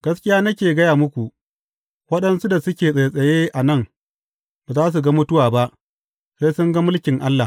Gaskiya nake gaya muku, waɗansu da suke tsattsaye a nan ba za su ga mutuwa ba, sai sun ga mulkin Allah.